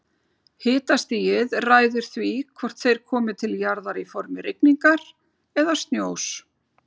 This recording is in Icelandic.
Hitastigið ræður því hvort þeir komi til jarðar í formi rigningar eða snjós.